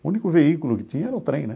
O único veículo que tinha era o trem, né?